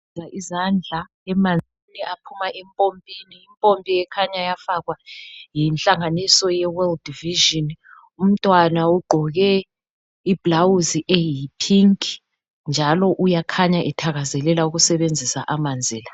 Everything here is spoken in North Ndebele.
Izandla emanzini aphuma impompini impompi ikhanya yafakwa yinhlanganiso ye world vision umntwana ugqoke ibhulawuzi eyi phinki njalo uyakhanya ethakazelela ukusebenzisa amanzi la.